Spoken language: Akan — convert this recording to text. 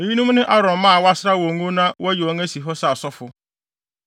Eyinom ne Aaron mma a wɔasra wɔn ngo na wɔayi wɔn asi hɔ sɛ asɔfo.